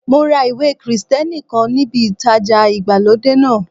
Mo ra ìwé Krìsìtẹ́nì kan níbi ìtajà ìgbàlódé náà.